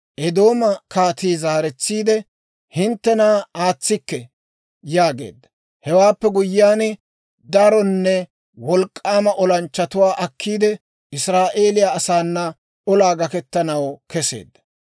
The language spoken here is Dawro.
Eedooma kaatii zaaretsiide, «Hinttena aatsikke» yaageedda. Hewaappe guyyiyaan, daronne wolk'k'aama olanchchatuwaa akkiide, Israa'eeliyaa asaana olaa gakkettanaw keseedda.